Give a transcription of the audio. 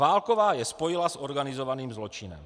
Válková je spojila s organizovaným zločinem.